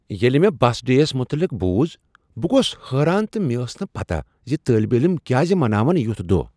ییلِہ مےٚ بس ڈے یس متعلق بوز بہٕ گوس حیران تہٕ مےٚ ٲس نہٕ پتا زِ طٲلب علم کیازِ مناون یُتھ دۄہ ۔